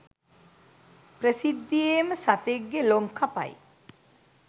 ප්‍රසිද්ධියේම සතෙක්ගෙ ලොම් කපයි.